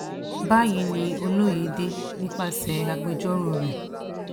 báyìí ni olóyedè nípasẹ̀ agbẹjọ́rò rẹ̀